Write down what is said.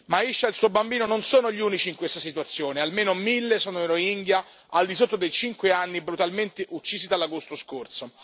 Ma Aisha e il suo bambino non sono gli unici in questa situazione, almeno mille sono i Rohingya al di sotto dei 5 anni brutalmente uccisi dall'agosto scorso.